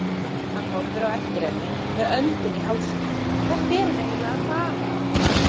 Hann horfir á eftir henni með öndina í hálsinum, hvert er hún eiginlega að fara!